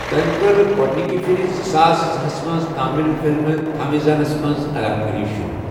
تمہِ ٕكر گو٘ڈنِكہِ پھِرِزٕ ساس زٕہس منز تامِل فِلمہِ تھامیزانس منز اداكٲری شروع ۔